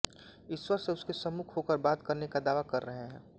ईश्वर से उसके सम्मुख होकर बात करने का दावा कर रहे हैं